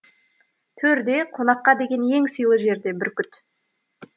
төрде қонаққа деген ең сыйлы жерде бүркіт